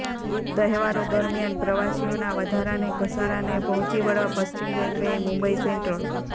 તહેવારો દરમિયાન પ્રવાસીઓના વધારાને ધસારાને પહોંચી વળવા પશ્ચિમ રેલવેએ મુંબઈ સેન્ટ્રલ